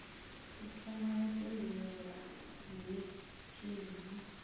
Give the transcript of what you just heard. u thoma ya tendela munetshedzi